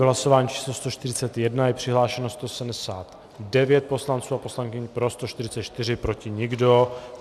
V hlasování číslo 141 je přihlášeno 179 poslanců a poslankyň, pro 144, proti nikdo.